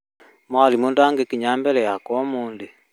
Mwarimũ ndagĩkinya mbere yakwa ũmũthĩ